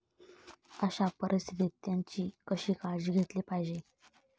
अशा परिस्थितीत त्यांची कशी काळजी घेतली पाहिजे.